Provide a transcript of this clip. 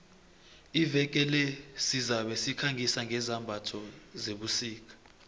iveke le sizabe sikhangisa ngezambatho zebusika